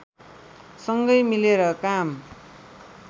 सँगै मिलेर काम